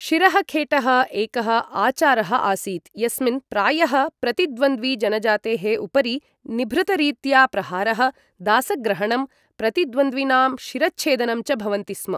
शिरःखेटः एकः आचारः आसीत् यस्मिन् प्रायः प्रति द्वन्द्वि जनजातेः उपरि निभृतरीत्या प्रहारः, दासग्रहणं, प्रतिद्वन्दिनां शिरःच्छेदनं च भवन्ति स्म।